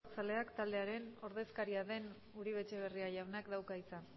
euzko abertzaleak taldearen ordezkaria den uribe etxebarria jaunak dauka hitza